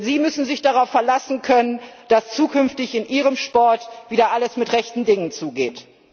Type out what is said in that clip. Denn sie müssen sich darauf verlassen können, dass zukünftig in ihrem Sport wieder alles mit rechten Dingen zugeht.